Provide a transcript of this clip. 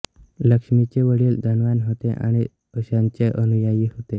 लक्ष्मींचे वडील धनवान होते आणि ओशोंचे अनुयायी होते